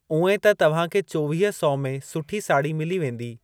उएं त तव्हांखे चोवीह सौ में सुठी साड़ी मिली वेंदी।